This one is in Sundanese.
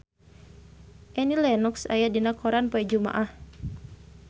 Annie Lenox aya dina koran poe Jumaah